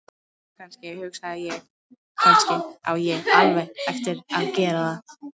Jú, kannski, hugsa ég: Kannski á ég alveg eftir að gera það.